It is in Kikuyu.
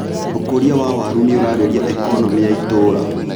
ũkũria wa waru nĩũraagĩria economĩ ya itũra.